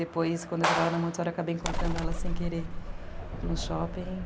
Depois, quando eu já estava na Montessori, eu acabei encontrando ela sem querer no shopping.